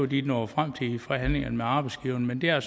de var nået frem til i forhandlingerne med arbejdsgiverne men det er